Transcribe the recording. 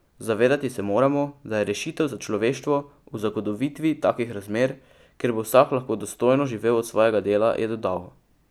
Zavedati se moramo, da je rešitev za človeštvo v zagotovitvi takih razmer, kjer bo vsak lahko dostojno živel od svojega dela, je dodal.